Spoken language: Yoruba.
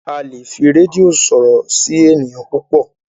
a lẹ fí Redio sọrọ sí ènìyàn púpọ